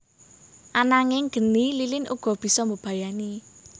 Ananging geni lilin uga bisa mbebayani